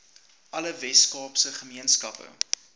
alle weskaapse gemeenskappe